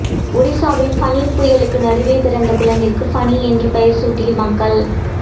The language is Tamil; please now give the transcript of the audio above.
ஒடிசாவில் ஃபனி புயலுக்கு நடுவே பிறந்த குழந்தைக்கு ஃபனி என பெயர்சூட்டிய மக்கள்